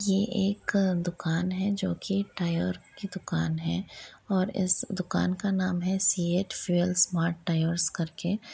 ये एक अ दुकान है जो की टायर की दूकान है और इस दुकान का नाम है सीएट फील्स स्मार्ट टायर कर के।